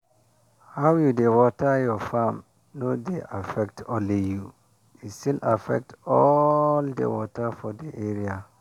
how you dey water your farm no dey affect only you e still affect all the water for the area.